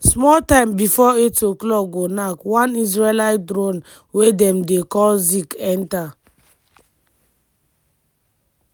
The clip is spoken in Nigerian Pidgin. small time bifor08:00go knack one israeli drone wey dem dey call zik enta